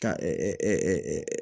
Ka